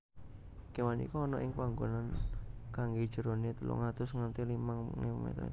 kewan iku ana ing panggonan kang jerone telung atus nganti limang ewu meter